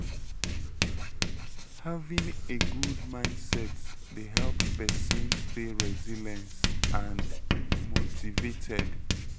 having a good mindset dey help pesin stay resilience and motivated.